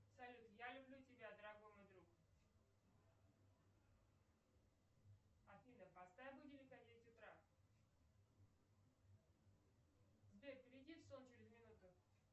салют я люблю тебя дорогой мой друг афина поставь будильник на девять утра сбер перейди в сон через минуту